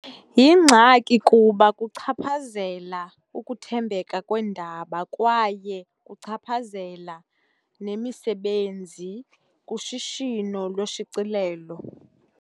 Yingxaki kuba kuchaphazela ukuthembeka kweendaba kwaye kuchaphazela nemisebenzi kushishino loshicilelo.